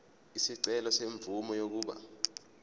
isicelo semvume yokuba